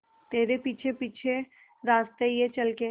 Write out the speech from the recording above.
तेरे पीछे पीछे रास्ते ये चल के